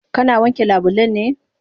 Kana wanke labulen ne?